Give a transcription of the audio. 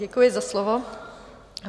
Děkuji za slovo.